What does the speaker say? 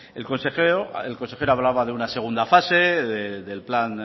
el consejero hablaba de una segunda fase del plan